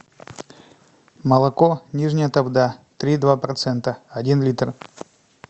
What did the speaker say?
молоко нижняя тавда три и два процента один литр